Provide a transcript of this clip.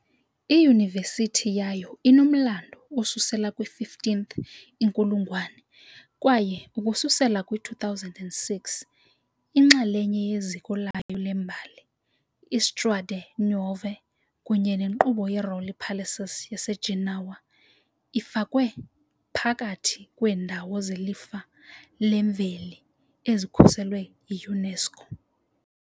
Iyunivesithi yayo inomlando osusela kwi-15th inkulungwane kwaye ukususela kwi-2006 inxalenye yeziko layo lembali, i-Strade Nuove kunye nenkqubo ye-Rolli Palaces yaseGenoa, ifakwe phakathi kweendawo zeLifa leMveli ezikhuselwe yi-UNESCO.